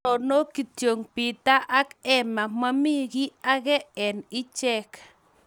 Choronok kityo Peter ago Emma mami giy age eng ichek